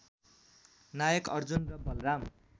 नायक अर्जुन र बलराम